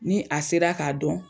Ni a sera k'a dɔn